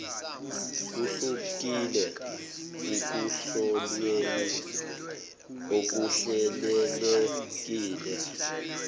kuhlukile ekuhlolweni okuhlelelekile